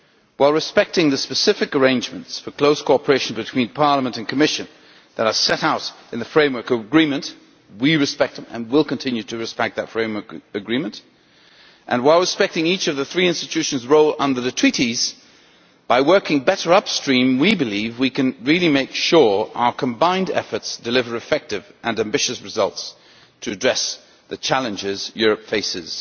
While respecting the specific arrangements for close cooperation between Parliament and Commission that are set out in the Framework Agreement we respect and will continue to respect that Framework Agreement and while respecting each of the three institutions' roles under the Treaties, it is by working better upstream that we believe we can really make sure our combined efforts deliver effective and ambitious results to address the challenges Europe faces.